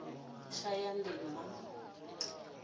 shayandima